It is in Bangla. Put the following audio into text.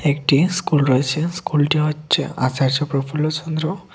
একটি স্কুল রয়েছে স্কুলটি হচ্ছে আচার্য প্রফুল্ল চন্দ্র--